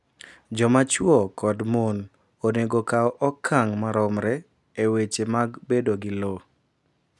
Jomachuwo kod mon onego okaw okang’ maromre e weche mag bedo gi lowo.